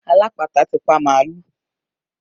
Alápatà ti pa màálù